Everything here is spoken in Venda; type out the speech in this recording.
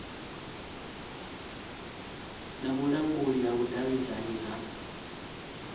na vhulanguli ha vhudavhidzano ha